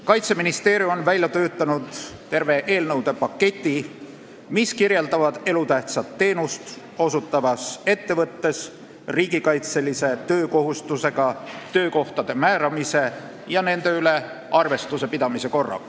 Kaitseministeerium on välja töötanud terve eelnõude paketi, kus kirjeldatakse elutähtsat teenust osutavas ettevõttes riigikaitselise töökohustusega töökohtade määramise ja nende üle arvestuse pidamise korda.